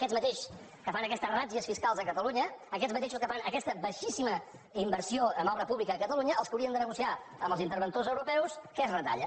aquests mateixos que fan aquestes ràtzies fiscals a catalunya aquests mateixos que fan aquesta baixíssima inversió en obra pública a catalunya els que haurien de negociar amb els interventors europeus què es retalla